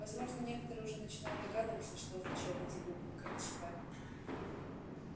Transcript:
возможно некоторые уже начинают догадываться что означают эти буквы ксп